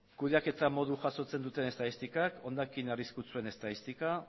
kudeaketa modu jasotzen duten estatistikak hondakin arriskutsuen estadistika